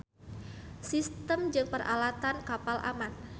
Sistem jeung peralatan kapal aman.